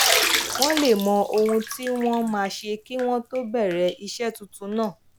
wón lè mọ ohun tí wón máa ṣe kí wón tó bèrè iṣé tuntun náà